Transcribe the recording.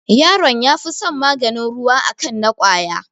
Yaron ya fi son maganin ruwa a kan na ƙwaya